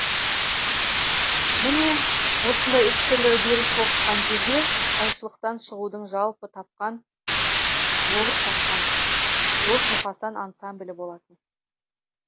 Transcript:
міне осындай үш түрлі үдеріс тоғысқан кезде қайшылықтан шығудың жолып тапқан дос мұқасан ансамблі болатын